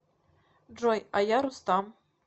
джой а я рустам